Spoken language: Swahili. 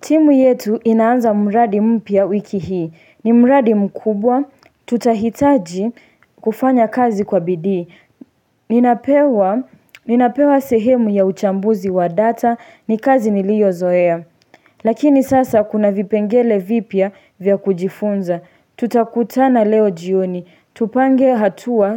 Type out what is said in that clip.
Timu yetu inaanza mraadi mpya wiki hii. Ni mradi mkubwa. Tutahitaji kufanya kazi kwa bidii Ninapewa sehemu ya uchambuzi wa data ni kazi niliyozoea. Lakini sasa kuna vipengele vipya vya kujifunza. Tutakutana leo jioni. Tupange hatua